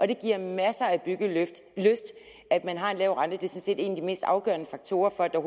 det giver masser af byggelyst at man har en lav rente det er sådan set en af de mest afgørende faktorer for at der